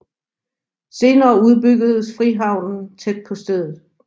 Senere udbyggedes frihavnen tæt på stedet